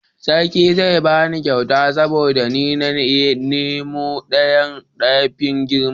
sarki zai bani kyauta saboda ni na yi noman doyan da ya fi girma